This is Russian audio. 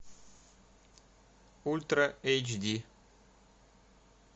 ультра эйч ди